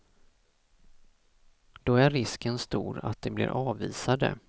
Då är risken stor att de blir avvisade.